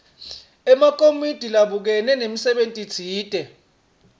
emakomiti labukene nemsebentitsite